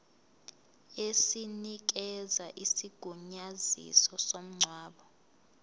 esinikeza isigunyaziso somngcwabo